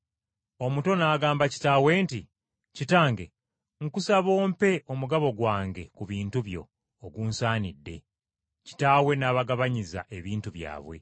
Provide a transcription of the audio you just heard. Omuto n’agamba kitaawe nti, ‘Kitange, nkusaba ompe omugabo gwange ku bintu byo ogunsaanidde.’ Kitaawe n’abagabanyiza ebintu byabwe.